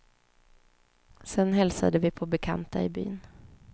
Sedan hälsade vi på bekanta i byn.